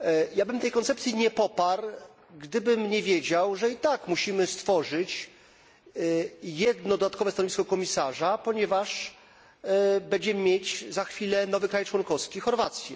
Ja bym tej koncepcji nie poparł, gdybym nie wiedział, że i tak musimy stworzyć jedno dodatkowe stanowisko komisarza, ponieważ będziemy mieć za chwilę nowy kraj członkowski Chorwację.